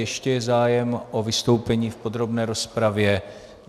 Ještě je zájem o vystoupení v podrobné rozpravě?